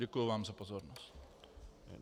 Děkuji vám za pozornost.